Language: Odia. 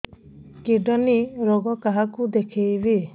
କିଡ଼ନୀ ରୋଗ କାହାକୁ ଦେଖେଇବି